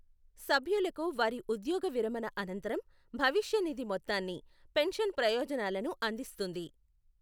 సభ్యులకు వారి ఉద్యోగ విరమణ అనంతరం భవిష్య నిధి మొత్తాన్ని, పెన్షన్ ప్రయోజనాలను అందిస్తుంది.